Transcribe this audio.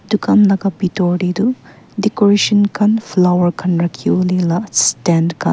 dukan laka bitor tae toh decoration khan flower khan rakhiwolae la stan khan.